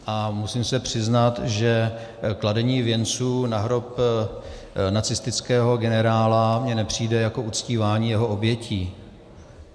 A musím se přiznat, že kladení věnců na hrob nacistického generála mi nepřijde jako uctívání jeho obětí.